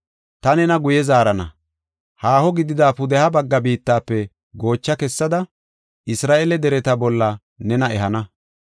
Ta nena guye zaarana; haaho gidida pudeha bagga biittafe goocha kessada, Isra7eele dereta bolla nena ehana.